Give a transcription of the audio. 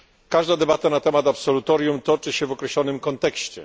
Każda debata na temat absolutorium toczy się w określonym kontekście.